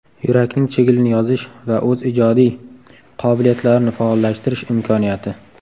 Yurakning chigilini yozish va o‘z ijodiy qobiliyatlarini faollashtirish imkoniyati.